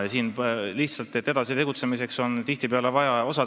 Siin lihtsalt edasi tegutsemiseks on tihtipeale midagi sellist vaja.